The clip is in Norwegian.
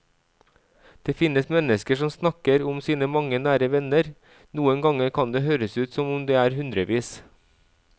Det finnes mennesker som snakker om sine mange nære venner, noen ganger kan det høres ut som om det er hundrevis.